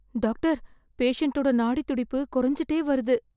doctor, பேஷண்ட்டோட நாடித்துடிப்பு கொறஞ்சுட்டே வருது...